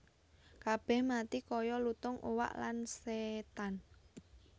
Kabèh mati kaya lutung uwak lan sétan